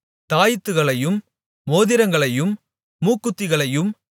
தாயித்துகளையும் மோதிரங்களையும் மூக்குத்திகளையும்